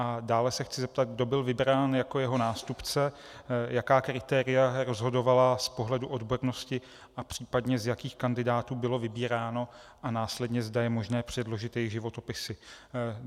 A dále se chci zeptat, kdo byl vybrán jako jeho nástupce, jaká kritéria rozhodovala z pohledu odbornosti a případně z jakých kandidátů bylo vybíráno, a následně, zda je možné předložit jejich životopisy.